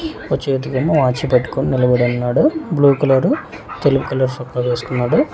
ఓ చేతిలేమో వాచ్ పెట్టుకొని నిలబడి ఉన్నాడు బ్లూ కలరు తెలుపు కలర్ చొక్కా వేసుకున్నాడు.